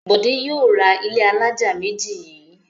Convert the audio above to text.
Bọ̀dé yóò ra ilé alájà méjì yìí.